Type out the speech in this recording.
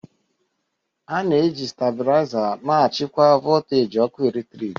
A na-eji stabiliza na-achịkwa voltaji ọkụ eletrik